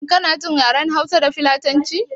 Shin kana jin yaren hausa da filatanci ne?